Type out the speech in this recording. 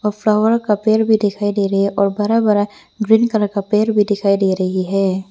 Flower का पेड़ भी दिखाई दे रही है और बड़ा बड़ा ग्रीन कलर का पेड़ भी दिखाई दे रही है।